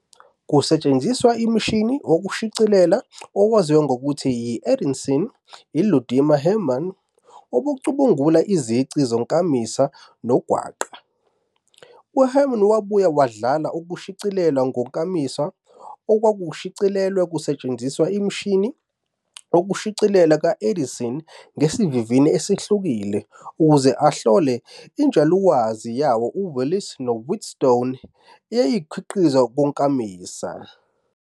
Kusetshenziswa umshini wokushicilela owaziwa ngokuthi yi-Edison, uLudimar Hermann wacubungula izici zonkamisa nongwaqa. UHermann wabuye wadlala okushicilelwe ngonkamisa okwakushicilelwe kusetshenziswa umshini wokushicilela ka-Edison ngesivinini esehlukile ukuze ahlole injulwazi yawoWillis noWheatstone eyayingokukhiqizwa konkamisa.